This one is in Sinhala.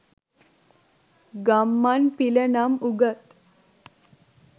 ගම්මන් පිල නම් උගත්